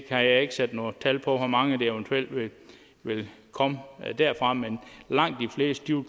kan ikke sætte noget tal på hvor mange der eventuelt vil komme derfra men langt de fleste vil